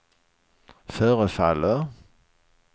förefaller